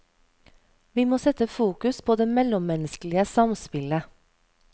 Vi må sette fokus på det mellommennesklige samspillet.